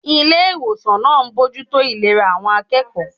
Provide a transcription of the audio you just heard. Ilé ìwòsàn náà ń bójú tó ìlera àwọn akẹ́kọ̀ọ́